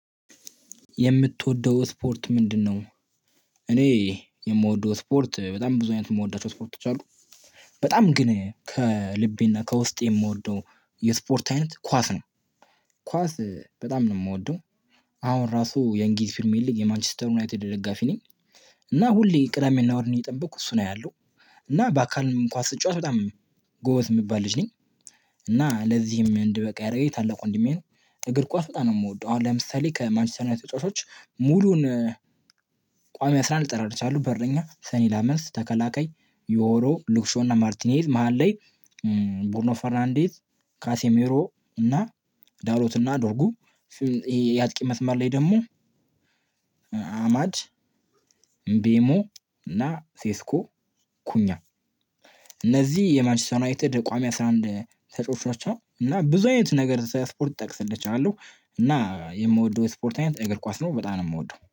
የምትወደው ስፖርት ምንድነው? እኔ የምወደው ስፖርት በጣም ብዙ አይነት የምወዳቸው ስፖርቶች አሉ። በጣም ግን ከልቤና ከውስጤ የምወደው የስፖርት አይነት ኳስ ነው። ኳስ በጣም ነው የምወደው። አሁን ራሱ የእንግሊዝ ፕርሜር ሊግ የማንችስተር ዩናይትድ ደጋፊ ነኝ። እና ሁሌ ቅዳሜና እሁድን እየጠበቅኩ እሱን አያለሁ። እና በአካልም ኳስ ስትጫወት በጣም ጎበዝ የሚባል ልጅ ነኝ። እና ለዚህም እንድበቃ ያደረገኝ ታላቅ ወንድሜ ነው። እግር ኳስ በጣም ነው የምወደው። አሁን ለምሳሌ ከማንችስተር ዩናይትድ ተጫዋቾች ሙሉውን ቋሚ አስራ አንድ ልጠራልህ እችላለሁ። በረኛ ሰኒ ላመንስ ተከላካይ ዮሮ ሉክሾውና ማርቲኔዝ መሃል ላይ ቡርኖ ፈርናንዴዝ ካሴሜሮ እና ዳሎት እና ዶርጉ የአጥቂ መስመር ላይ ደግሞ አማድ ቤሞ እና ሴስኮ ኩኛ። እነዚህ የማንችስተር ዩናይትድ ቋሚ አስራ አንድ ተጫዋቾች ናቸው። እና ብዙ አይነት ነገር ስለስፖርት ልጠቅስል እችላለው። እና የምወደው ስፖርት አይነት እግር ኳስ ነው በጣም ነው የምወደው